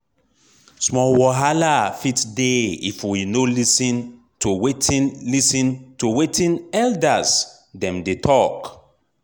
small wahala fit dey if we no lis ten to wetin lis ten to wetin elders dem dey talk.